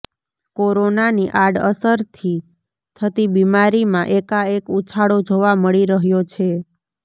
કોરોનાની આડઅસરથી થતી બીમારીમાં એકાએક ઉછાળો જોવા મળી રહ્યો છે